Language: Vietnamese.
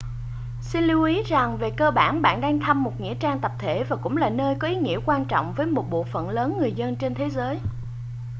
xin lưu ý rằng về cơ bản bạn đang thăm một nghĩa trang tập thể và cũng là nơi có ý nghĩa quan trọng với một bộ phận lớn người dân trên thế giới